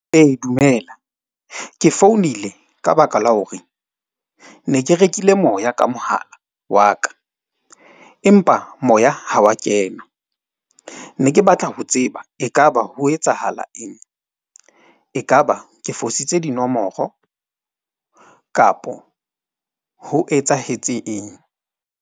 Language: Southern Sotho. Ee, dumela ke founile ka baka la hore ne ke rekile moya ka mohala wa ka. Empa moya ha wa kena ne ke batla ho tseba. Ekaba ho etsahala eng, ekaba ke fositse dinomoro kapo ho etsahetse eng?